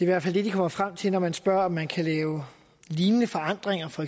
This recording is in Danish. hvert fald det de kommer frem til når man spørger om man kan lave lignende forandringer for